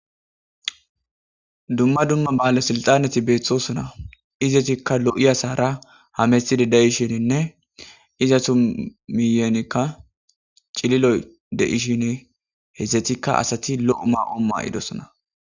Duma duma bale silxxaneti bettosona izetikka lo'iyasara hamettid de'ishinne izetu miyennika cilliloy de'shin izetikka asati lo'o may'o ma'idosona.